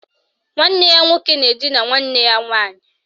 Nwanne ya nwoke na edina nwanne ya nwaanyị